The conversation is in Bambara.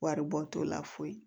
Waribɔ t'o la foyi ye